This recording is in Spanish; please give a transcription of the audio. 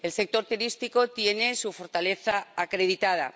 El sector turístico tiene su fortaleza acreditada.